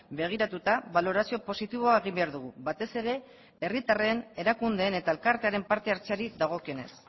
begiratuta balorazio positiboa egin behar dugu batez ere herritarren erakundeen eta elkartearen parte hartzeari dagokionez